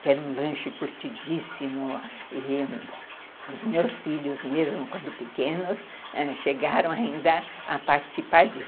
que era um lanche curtidíssimo e os meus filhos mesmo, quando pequenos, ãh, chegaram ainda a participar disso.